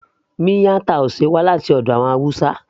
miyan taushe wá láti ọ̀dọ̀ àwọn hausa